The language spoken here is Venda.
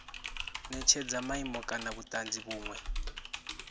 netshedza maimo kana vhutanzi vhunwe